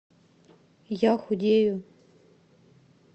я худею